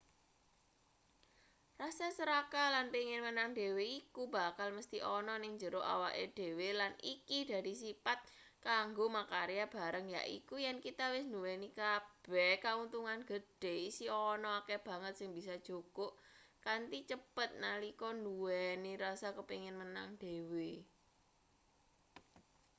rasa serakah lan pengin menang dhewe iku bakal mesthi ana ning njero awake dhewe lan iki dadi sipat kanggo makarya bareng yaiku yen kita wis nduweni kabeh kauntungan gedhe isih ana akeh banget sing bisa jukuk kanthi cepet nalika nduweni rasa kepingin menang dhewe